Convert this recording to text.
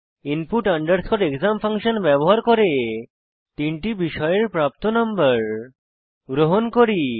input underscore exam function ব্যবহার করে তিনটি বিষয়ের প্রাপ্ত নম্বর গ্রহণ করি